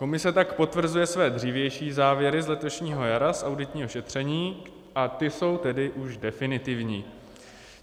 Komise tak potvrzuje své dřívější závěry z letošního jara z auditního šetření a ty jsou tedy už definitivní.